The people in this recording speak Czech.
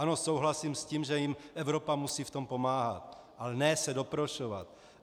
Ano, souhlasím s tím, že jim Evropa musí v tom pomáhat, ale ne se doprošovat.